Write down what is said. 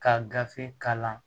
Ka gafe kalan